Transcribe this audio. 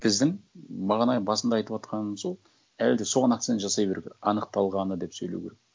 біздің бағана басында айтыватқаным сол әлі де соған акцент жасай беру керек анықталғаны деп сөйлеу керек